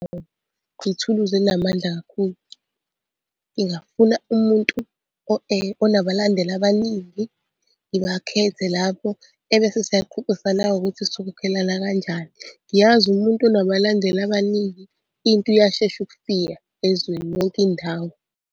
Ithuluzi elinamandla kakhulu. Ngingafuna umuntu onabalandeli abaningi, ngibakhethe lapho ebese siyaxoxisana-ke ukuthi sokhokhelana kanjani. Ngiyazi umuntu onabalandeli abaningi into iyashesha ukufika ezweni yonke indawo.